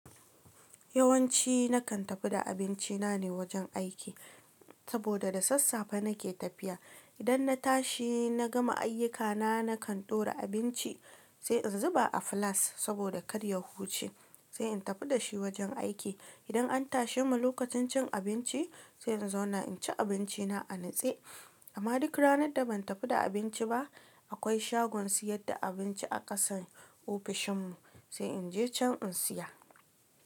Yawanci nakan tafi da abinci na ne wajen aiki saboda da sassafe nake tafiya. Idan na tashi na gama ayyukana, nakan ɗora abinci sai in zuba a filas saboda karya huce. Sai in tafi da shi wajen aiki. Idan an tashe mu lokacin cin abinci, sai in zauna in ci abinci na a nutse. Amma duk ranar da ban tafi da abinci ba, akwai shagon siyar da abinci a ƙasan ofishin mu, sai in je can in siya.